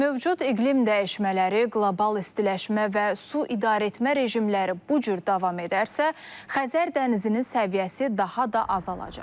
Mövcud iqlim dəyişmələri, qlobal istiləşmə və su idarəetmə rejimləri bu cür davam edərsə, Xəzər dənizinin səviyyəsi daha da azalacaq.